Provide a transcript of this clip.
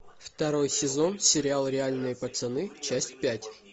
второй сезон сериал реальные пацаны часть пять